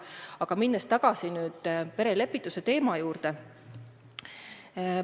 Aga lähen tagasi perelepituse teema juurde.